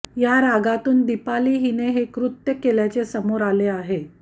या रागातून दीपाली हिने हे कृत्य केल्याचे समोर आले आहे